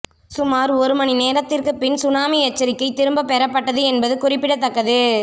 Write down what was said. சுமார் ஒரு மணி நேரத்திற்குப் பின் சுனாமி எச்சரிக்கை திரும்பப் பெறப்பட்டது என்பது குறிப்பிடத்தக்கது